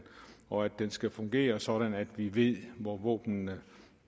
og at den skal fungere sådan at vi ved hvor våbnene